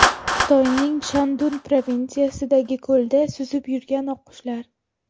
Xitoyning Shandun provinsiyasidagi ko‘lda suzib yurgan oqqushlar.